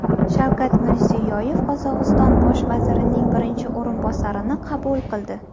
Shavkat Mirziyoyev Qozog‘iston bosh vazirining birinchi o‘rinbosarini qabul qildi.